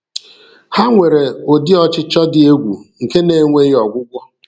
Ha nwere udi ọchịchọ dị egwu nke na-enweghi ọgwụgwụ.